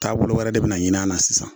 Taabolo wɛrɛ de be na ɲin'a na sisan